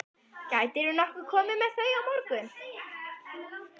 Gætirðu nokkuð komið með þau á morgun?